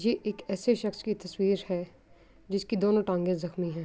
یہ ایک ایسے شکش کی تشویر ہے جسکی دونو تانگے جخمی ہے۔